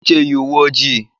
Uche yi uwe ojii.